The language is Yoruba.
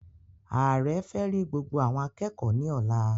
Ààrẹ fẹ rí gbogbo awọn akẹẹkọ ní ọ̀la